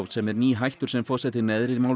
sem er nýhættur sem forseti neðri